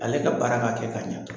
Ale ka baara ka kɛ k'a ɲa dɔrɔn.